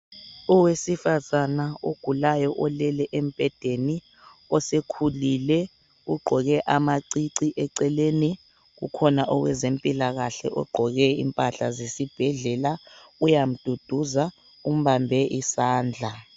Owesifazana ogulayo, olele embhedeni. Osekhulile.,Ugqoke amacici. Eceleni kukhona owezempilakahle, ogqoke impahla zesibhedlela. Uyamduduza, umbambe isandla.